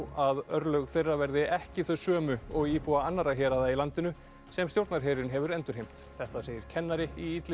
að örlög þeirra verði ekki þau sömu og íbúa annarra héraða í landinu sem stjórnarherinn hefur endurheimt þetta segir kennari í